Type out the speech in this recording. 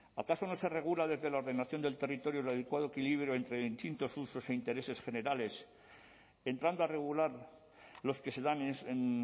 acaso no se regula desde la ordenación del territorio el adecuado equilibrio entre distintos usos e intereses generales entrando a regular los que se dan en